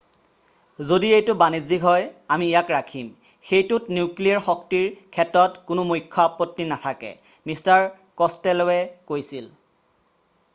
"""যদি এইটো বাণিজ্যিক হয় আমি ইয়াক ৰাখিম। সেইটোত নিউক্লিয়েৰ শক্তিৰ ক্ষেত্ৰত কোনো মুখ্য আপত্তি নাথাকে" মিষ্টাৰ ক'ছটেল'ৱে কৈছিল।""